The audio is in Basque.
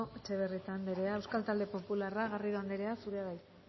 etxebarrieta andrea euskal talde popularra garrido andrea zurea da hitza